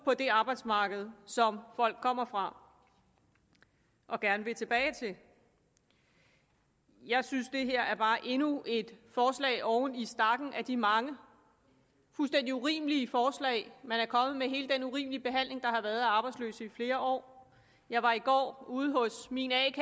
på det arbejdsmarked som folk kommer fra og gerne vil tilbage til jeg synes det her bare er endnu et forslag oven i stakken af de mange fuldstændig urimelige forslag man er kommet med hele den urimelige behandling der har været af arbejdsløse i flere år jeg var i går ude hos min a